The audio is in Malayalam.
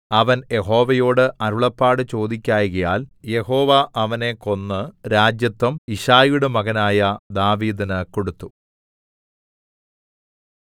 അവൻ യഹോവയോടു അരുളപ്പാട് ചോദിക്കായ്കയാൽ യഹോവ അവനെ കൊന്ന് രാജത്വം യിശ്ശായിയുടെ മകനായ ദാവീദിന് കൊടുത്തു